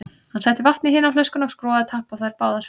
Hann setti vatn í hina flöskuna og skrúfaði tappa á þær báðar.